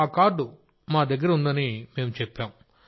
ఆ కార్డు మా దగ్గర ఉందని మేం చెప్పాం